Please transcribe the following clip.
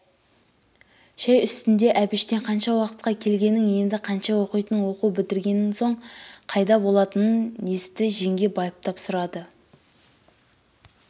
шай үстінде әбіштен қанша уақытқа келгенін енді қанша оқитынын оқу бітірген соң қайда болатынын есті жеңге байыптап сұрады